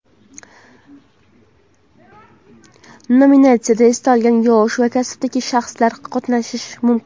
Nominatsiyada istalgan yosh va kasbdagi shaxslar qatnashishi mumkin.